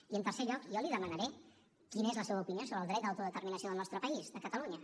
i en tercer lloc jo li demanaré quina és la seva opinió sobre el dret d’autodeterminació del nostre país de catalunya